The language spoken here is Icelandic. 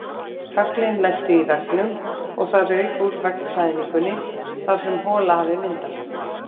Höglin lentu í veggnum og það rauk úr veggklæðningunni þar sem hola hafði myndast.